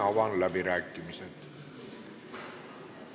Avan läbirääkimised.